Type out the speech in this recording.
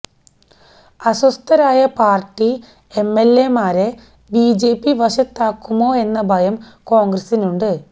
അസ്വസ്ഥരായ party എംഎല്എമാരെ BJP വശത്താക്കുമോ എന്ന ഭയം കോണ്ഗ്രസിനുണ്ട്